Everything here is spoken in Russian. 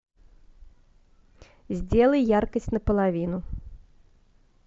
сделай яркость на половину